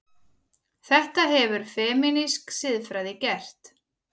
Þetta hefur femínísk siðfræði gert.